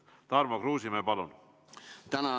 Tarmo Kruusimäe, palun!